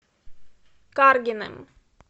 каргиным